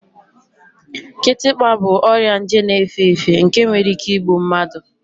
Kịtịkpa bụ ọrịa nje na-efe efe nke nwere ike igbu mmadụ